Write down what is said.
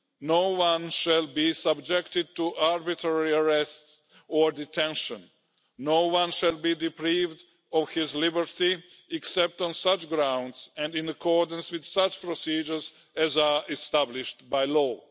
no one shall be subjected to arbitrary arrests or detention, no one shall be deprived of his liberty, except on such grounds and in accordance with such procedures as are established by law.